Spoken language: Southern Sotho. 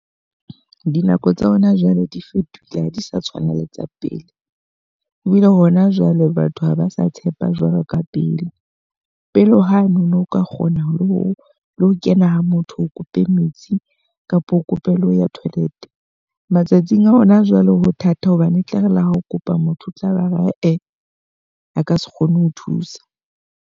Dinako tsa hona jwale di fetohile ha di sa tshwana le tsa pele. Ho bile hona jwale batho ha ba sa tshepa jwalo ka pele. Pele hwane o no ka kgona ho lo kena ha motho o kope metsi kapa o kope le ho ya toilet. Matsatsing a hona jwale ho thata hobane e tla re ha okopa motho o tlabe ae a ka se kgone ho thusa.